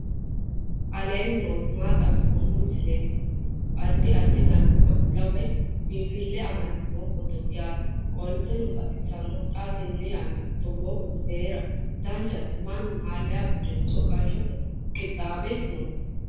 aleenni nooti maa xawisanno misileeti yinummoro addi addi dananna kuula woy biinfille amaddino footooti yaate qoltenno baxissannote xa tenne yannanni togoo footo haara danchate mannu malayya uddire soqqanshshote qinamboti no